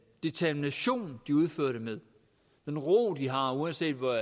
determination de udfører det med den ro de har uanset